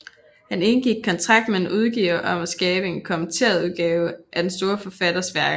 Han indgik kontrakt med en udgiver om at skabe en kommenteret udgave af den store forfatters værker